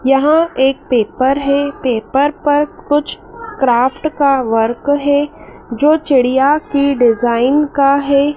यहां एक पेपर है पेपर पर कुछ क्राफ्ट का वर्क है जो चिड़िया की डिजाइन का है।